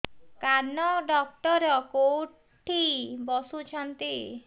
କାନ ଡକ୍ଟର କୋଉଠି ବସୁଛନ୍ତି